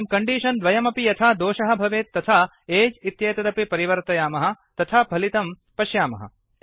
इदानीं कण्डीषन् द्वयमपि यथा दोषः भवेत् तथा एज् इत्येतदपि परिवर्तयामः तथा फलितं पश्यामः